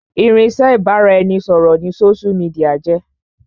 Irinsẹ́ ibà ra ẹni ṣọ̀rọ̀ ni sósú midià jẹ́